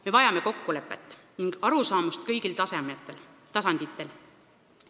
Me vajame kokkulepet ning arusaamist kõigil tasanditel.